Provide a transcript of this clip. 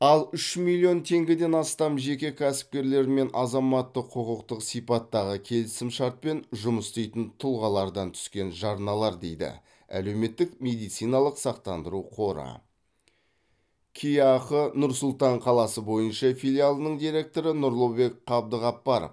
ал үш миллион теңгеден астам жеке кәсіпкерлер мен азаматтық құқықтық сипаттағы келісімшартпен жұмыс істейтін тұлғалардан түскен жарналар дейді әлеуметтік медициналық сақтандыру қоры кеақ нұр сұлтан қаласы бойынша филиалының директоры нұрлыбек қабдықапаров